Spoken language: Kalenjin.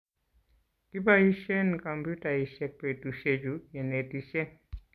kiboishen kompyutaisiek betusiechu kenetishen